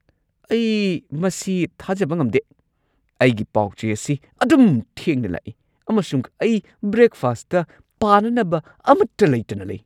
ꯑꯩ ꯃꯁꯤ ꯊꯥꯖꯕ ꯉꯝꯗꯦ! ꯑꯩꯒꯤ ꯄꯥꯎ-ꯆꯦ ꯑꯁꯤ ꯑꯗꯨꯝ ꯊꯦꯡꯅ ꯂꯥꯛꯏ, ꯑꯃꯁꯨꯡ ꯑꯩ ꯕ꯭ꯔꯦꯛꯐꯥꯁꯠꯇ ꯄꯥꯅꯅꯕ ꯑꯃꯠꯇ ꯂꯩꯇꯅ ꯂꯩ ꯫